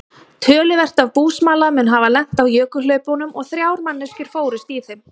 Töluvert af búsmala mun hafa lent í jökulhlaupunum og þrjár manneskjur fórust í þeim.